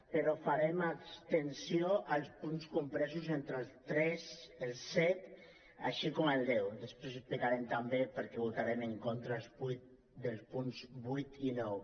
però farem abstenció als punts compresos entre el tres i el set així com al deu després explicarem també per què votarem en contra dels punts vuit i nou